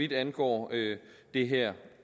det angår det her